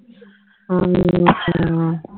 ਹਾਂ ਹਾਂ